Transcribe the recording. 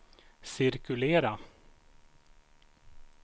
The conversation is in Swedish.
cirkulera